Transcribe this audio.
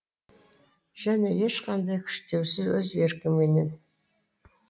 және ешқандай күштеусіз өз еркіңменен